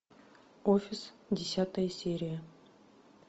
офис десятая серия